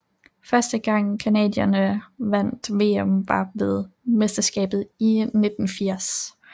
Første gang canadierne vandt VM var ved mesterskabet i 1980